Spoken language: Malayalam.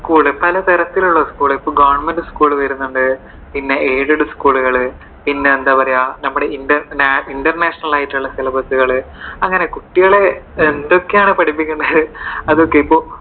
school പലതരത്തിലുള്ള school. ഇപ്പോ government school വരുന്നുണ്ട് പിന്നെ aided school കൾ. പിന്നെ എന്താ പറയുവാ നമ്മുടെ international ആയിട്ടുള്ള syllabus അങ്ങനെ കുട്ടികളെ എന്തൊക്കെയാണ് പഠിപ്പിക്കുന്നത് അതൊക്കെ